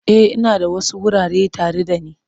E, ina da wasu wurare tare da ni.